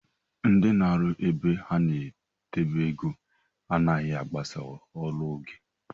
Ndị na arụ ebe a na-edebe ego anaghi agbasa ọrụ n'oge